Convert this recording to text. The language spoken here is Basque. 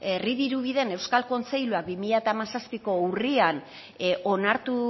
herri dirubideen euskal kontseiluak bi mila hamazazpiko urrian onartu